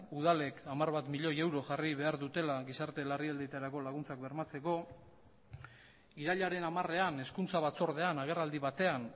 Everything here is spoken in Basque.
udalek hamar bat milioi euro jarri behar dutela gizarte larrialdietarako laguntzak bermatzeko irailaren hamarean hezkuntza batzordean agerraldi batean